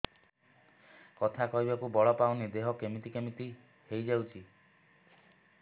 କଥା କହିବାକୁ ବଳ ପାଉନି ଦେହ କେମିତି କେମିତି ହେଇଯାଉଛି